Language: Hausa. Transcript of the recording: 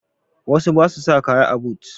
Wasu ba su sa kaya a but